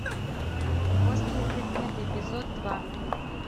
острые предметы эпизод два